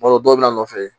B'a dɔn dɔw bɛna nɔfɛ